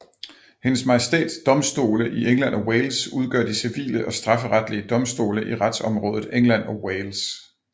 Hendes Majestæts Domstole i England og Wales udgør de civile og strafferetlige domstole i retsområdet England og Wales